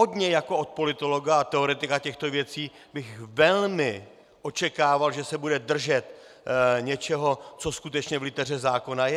Od něj jako od politologa a teoretika těchto věcí bych velmi očekával, že se bude držet něčeho, co skutečně v liteře zákona je.